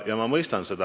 Ja ma mõistan seda.